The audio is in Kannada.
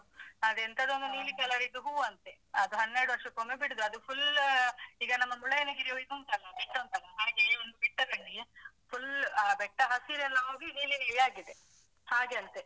ಅದೆಂತದೋ ಒಂದು ನೀಲಿ color ಇದ್ದು ಹೂ ಅಂತೆ. ಅದು ಹನ್ನೆರಡು ವರ್ಷಕೊಮ್ಮೆ ಬಿಡುದು ಅದು full ಈಗ ನಮ್ಮ ಮುಳ್ಳಯ್ಯನಗಿರಿ ಇದು ಉಂಟಲ್ಲ ಬೆಟ್ಟ ಉಂಟಲ್ಲ. ಹಾಗೆ ಒಂದು ಬೆಟ್ಟದಲ್ಲಿ full ಆ ಬೆಟ್ಟ ಹಸಿರೆಲ್ಲ ಹೋಗಿ ನೀಲಿ ನೀಲಿ ಆಗಿದೆ ಹಾಗೆ ಅಂತೇ.